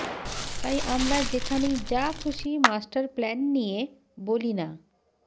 তাই আমরা যেখানেই যা খুশি মাস্টার প্ল্যান নিয়ে বলিনা